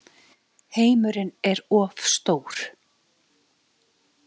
Heimurinn er of stór.